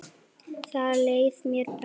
Þar leið mér best.